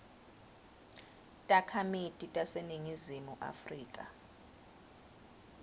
takhamiti taseningizimu afrika